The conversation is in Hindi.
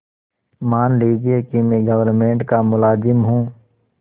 मान लीजिए कि मैं गवर्नमेंट का मुलाजिम हूँ